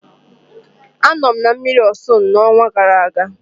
Anọ m na mmiri Ọsun n'ọnwa gara aga.